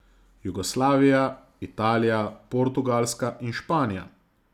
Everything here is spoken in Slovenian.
Jugoslavija, Italija, Portugalska in Španija.